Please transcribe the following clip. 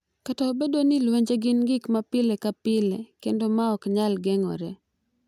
Kata obedo ni lwenje gin gik ma pile ka pile kendo ma ok nyal geng’ore,